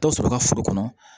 Dɔ sɔrɔ i ka foro kɔnɔ